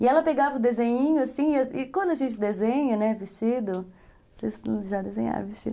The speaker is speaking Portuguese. E ela pegava o desenhinho, assim, e quando a gente desenha, né, vestido, vocês já desenharam vestido?